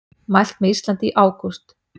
Mælt með Íslandi í ágúst